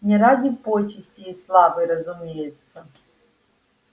не ради почестей и славы разумеется